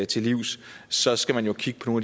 til livs så skal man jo kigge på